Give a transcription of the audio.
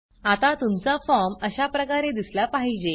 आता तुमचा फॉर्म अशाप्रकारे दिसला पाहिजे